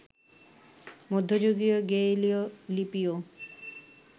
মধ্যযুগীয় গেইলীয় লিপিও